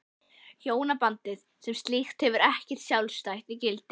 Hjónabandið sem slíkt hefur ekkert sjálfstætt gildi.